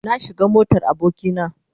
Na shiga motar aboki na.